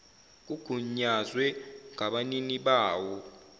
kugunyazwe ngabanini bawo